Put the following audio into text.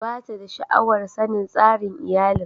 Ba ta da sha'awar sanin tsarin iyalin.